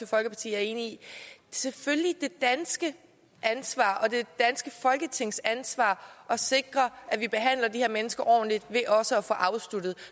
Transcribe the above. folkeparti er enig i selvfølgelig det danske ansvar og det danske folketings ansvar at sikre at vi behandler de her mennesker ordentligt ved også at få sagen afsluttet